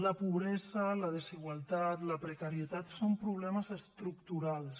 la pobresa la desigualtat la precarietat són problemes estructurals